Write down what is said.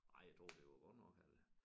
Nej jeg tror det var godt nok eller